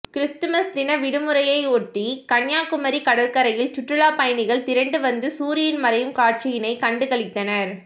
Christmas தின விடுமுறையையொட்டி கன்னியாகுமரி கடற்கரையில் சுற்றுலா பயணிகள் திரண்டு வந்து சூரியன் மறையும் காட்சியினை கண்டுகளித்தனர்